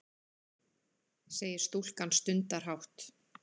segir stúlkan stundarhátt.